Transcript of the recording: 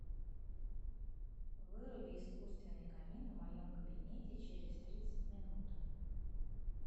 выруби искусственный камин в моем кабинете через тридцать минут